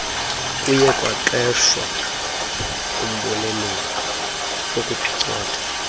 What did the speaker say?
kuyekwaqeshwa umboneleli wokuphicotha